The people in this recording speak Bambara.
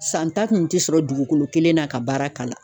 San ta kun ti sɔrɔ dugukolo kelen na ka baara kalan